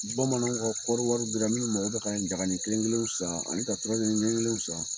Bamananw ka kɔɔri wari bira miw mago bɛ ka jagani kelenkelenw san ani ka turajɛni kelen kelenw san